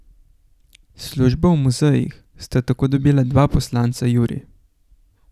Službo v muzejih sta tako dobila dva poslanca Juri.